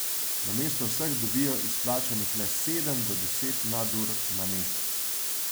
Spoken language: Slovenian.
Namesto vseh dobijo izplačanih le sedem do deset nadur na mesec.